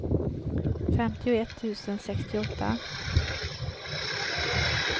femtioett tusen sextioåtta